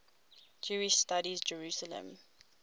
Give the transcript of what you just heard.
jewish studies jerusalem